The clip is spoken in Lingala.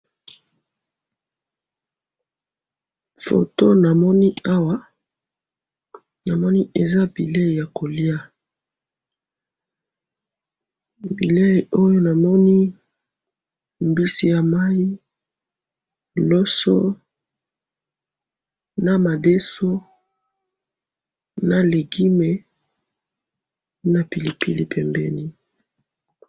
Awa na moni biloko ya kolia na sani, mbisi ya mai, loso, madeso, légume na pilipili pembeni.